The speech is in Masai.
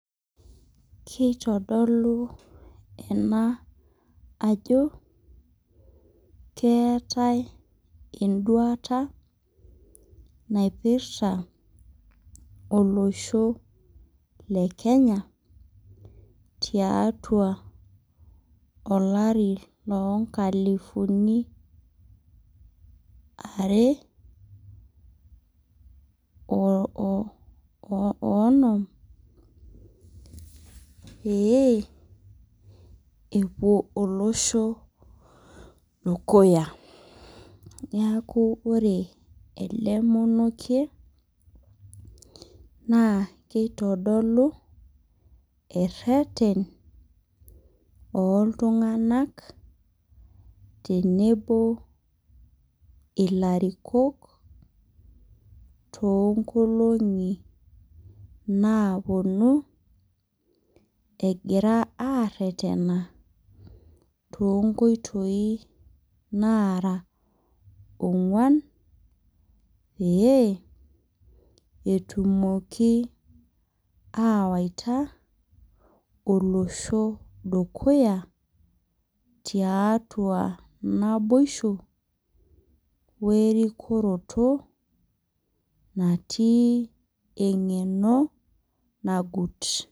Keitodolu ena ajo, keatai induata naipirta olosho le Kenya tiatua olari loo inkalifuni are o onom pee epuo olosho dukuya. Neaku ore ele monokie naa keitodolu ereten ooltung'anak tenebo o ilarikok too ng'olong'i naapuonu egira aretena, too inkoitoi naara on'uan pee etumoki awaita olosho dukuya tiatua naboisho we erikoroto natii engeno nagut.